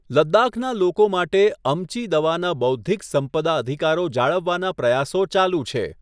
લદ્દાખના લોકો માટે અમ્ચી દવાના બૌદ્ધિક સંપદા અધિકારો જાળવવાના પ્રયાસો ચાલુ છે.